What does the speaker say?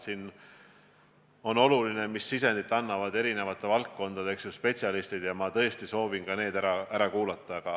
Siin on oluline see, milliseid sisendeid annavad erinevate valdkondade spetsialistid, ja ma tõesti soovin ka need ära kuulata.